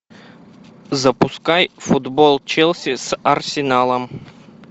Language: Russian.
запускай футбол челси с арсеналом